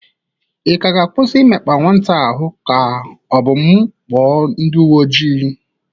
Ị ga-akwụsị imekpa nwata a ahụ ka ọ bụ m kpọ ndị uwe ojii?